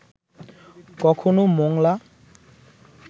কখনও মোংলা